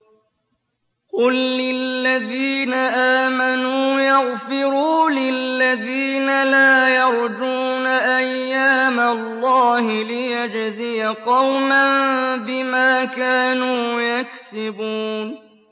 قُل لِّلَّذِينَ آمَنُوا يَغْفِرُوا لِلَّذِينَ لَا يَرْجُونَ أَيَّامَ اللَّهِ لِيَجْزِيَ قَوْمًا بِمَا كَانُوا يَكْسِبُونَ